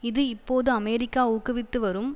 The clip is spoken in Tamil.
இது இப்போது அமெரிக்கா ஊக்குவித்து வரும்